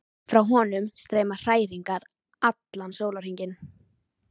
Frá honum streyma hræringar allan sólarhringinn.